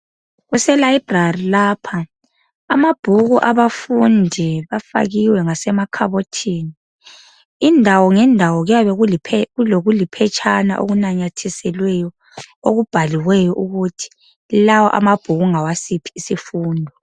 Kuse library lapha. Amabhuku abafundi afakiwe ngasemakhabothini. Indawo ngendawo kuyabe kulokuliphetshana okunamathiselweyo okubhaliweyo ukuthi lawa amabhuku ngawasiphi isifundo.